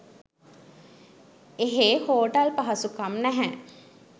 එහේ හෝටල් පහසුකම් නැහැ